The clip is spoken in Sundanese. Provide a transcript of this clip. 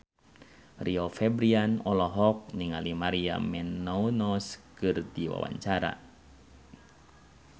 Rio Febrian olohok ningali Maria Menounos keur diwawancara